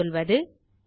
ஆகவே சொல்வது